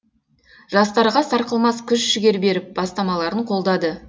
жастарға сарқылмас күш жігер беріп бастамаларын қолдады